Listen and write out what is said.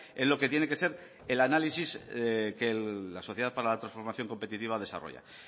en lo que tiene que ser el análisis que la sociedad para la transformación competitiva desarrolla qué